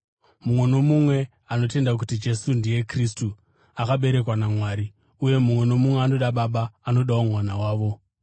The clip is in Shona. Mumwe nomumwe anotenda kuti Jesu ndiye Kristu, akaberekwa naMwari, uye mumwe nomumwe anoda baba anodawo mwana wavo.